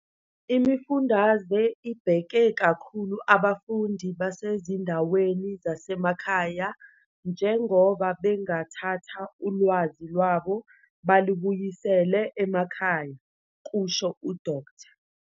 "Imifundaze ibheke kakhulu abafundi basezindaweni zasemakhaya njengoba bengathatha ulwazi lwabo balubuyisele emakhaya," kusho uDkt.